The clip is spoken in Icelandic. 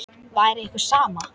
Væri ykkur sama?